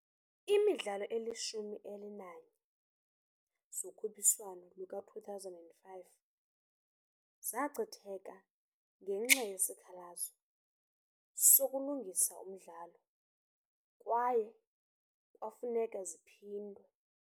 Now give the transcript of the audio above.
Iimidlalo ezilishumi elinanye zokhuphiswano luka-2005 zachitheka ngenxa yesikhalazo sokulungisa umdlalo kwaye kwafuneka ziphindwe.